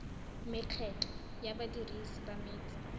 mekgatlho ya badirisi ba metsi